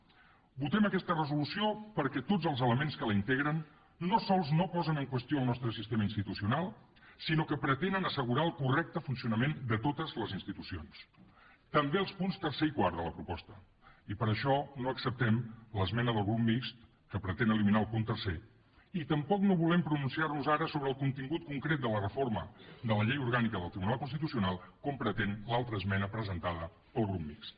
votem aquesta resolució perquè tots els elements que la integren no sols no posen en qüestió el nostre sistema institucional sinó que pretenen assegurar el correcte funcionament de totes les institucions també els punts tercer i quart de la proposta i per això no acceptem l’esmena del grup mixt que pretén eliminar el punt tercer ni tampoc no volem pronunciar nos ara sobre el contingut concret de la reforma de la llei orgànica del tribunal constitucional com pretén l’altra esmena presentada pel grup mixt